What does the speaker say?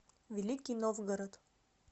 великий новгород